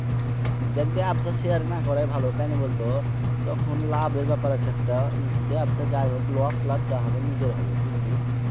দেখ ভাই এসব Share এ না করাই ভালো। কেনে বলতো? তখন লাভের ব্যাপার আছে একটা ব্যবসা যাই হোক Loss লাভ যাই হোক নিজের হবে।